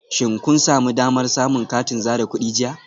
Shin kun sami damar samun katin zare kudi jiya?